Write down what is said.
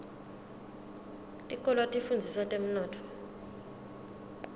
tikolwa tifundzisa temnotfo